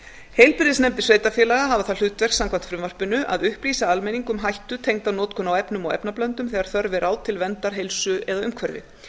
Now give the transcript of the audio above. heilbrigðisnefndir sveitarfélaga hafa það hlutverk samkvæmt frumvarpinu að upplýsa almenning um hættu tengda notkun á efnum og efnablöndum þegar þörf er á til verndar heilsu eða umhverfi